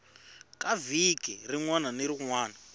ka vhiki rin wana ni